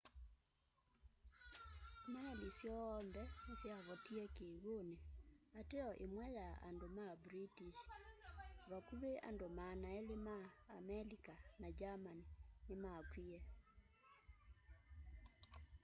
meli syoonthe nĩsyavotĩe kĩw'ũnĩ ateo ĩmwe ya ya andũ ma british vakũvĩ andũ 200 ma amelika na german nĩmakw'ĩe